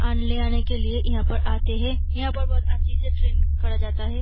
और ली आने के लिए यहाँ पर आते है यहाँ पर बहुत अच्छे ट्रैन करा जाता है।